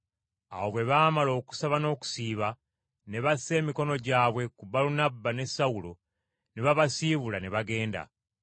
Awo bwe baamala okusaba n’okusiiba, ne bassa emikono gyabwe ku Balunabba ne Sawulo, ne babasiibula ne bagenda.